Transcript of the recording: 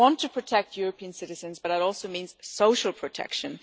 We want to protect European citizens but that also means social protection.